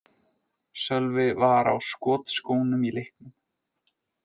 Sölvi var á skotskónum í leiknum.